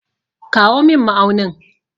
Kawo min ma'aunin.